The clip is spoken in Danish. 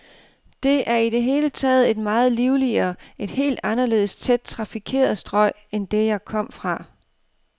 Det er i det hele taget et meget livligere, et helt anderledes tæt trafikeret strøg end det, jeg kom fra.